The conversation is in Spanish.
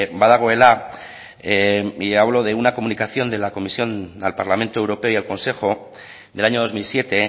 badagoela y hablo de una comunicación de la comisión al parlamento europeo y al consejo del año dos mil siete